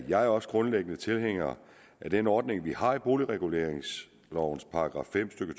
jeg også grundlæggende tilhænger af den ordning vi har i boligreguleringslovens § fem stykke